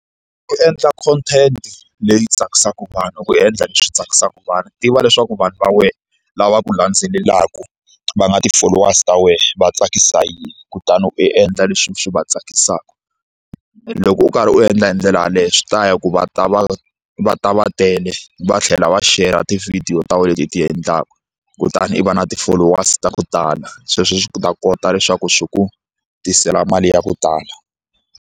U endla content leyi tsakisaka vanhu i ku endla leswi tsakisaka vanhu tiva leswaku vanhu va wena lava ku landzelelaka va nga ti-followers ta wena va tsakisa hi yini kutani u endla leswi swi va tsakisaka loko u karhi u endla hi ndlela yaleyo swi ta ya ku va ta va va ta va tele va tlhela va shera ti-video ta wena leti u ti endlaka kutani u va na ti-followers to tala sweswo swi ta kota leswaku swi ku tisela mali ya ku tala.